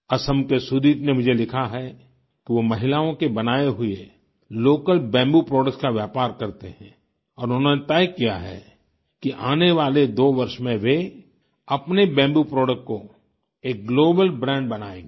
असम के सुदीप ने मुझे लिखा है कि वो महिलाओं के बनाए हुए लोकल बम्बू प्रोडक्ट्स का व्यापार करते हैं और उन्होंने तय किया है कि आने वाले 2 वर्ष में वे अपने बम्बू प्रोडक्ट को एक ग्लोबल ब्रांड बनायेंगे